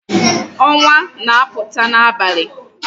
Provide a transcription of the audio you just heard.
Onwa na-aputa n'abali